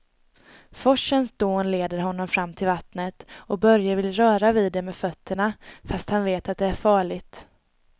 Forsens dån leder honom fram till vattnet och Börje vill röra vid det med fötterna, fast han vet att det är farligt.